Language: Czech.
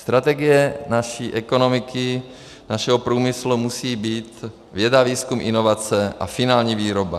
Strategie naší ekonomiky, našeho průmyslu musí být věda, výzkum, inovace a finální výroba.